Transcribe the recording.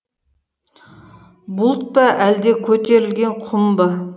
бұлт па әлде көтерілген құм ба